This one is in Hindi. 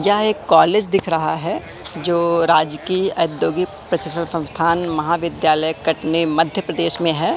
क्या एक कॉलेज दिख रहा है जो राजकीय औद्योगिक प्रशिक्षण संस्थान महाविद्यालय कटनी मध्य प्रदेश में है।